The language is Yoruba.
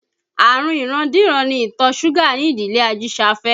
Àrùn ìrandíran ni ìtọ̀ súgà ní ìdílé Ajisafe